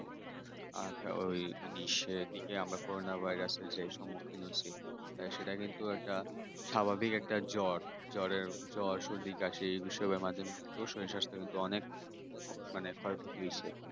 আর ওই উনিশি দিকে coronavirus যে সম্মুখীন হয়েছি আর সেটা কিন্তু একটা স্বাভাবিক একটা জ্বর। জ্বর জ্বর সর্দি কাশি, বিষমের মাধ্যমে শরীর স্বাস্থ্য কিন্তু অনেক মনে অনেক ক্ষয়ক্ষতি হয়েছে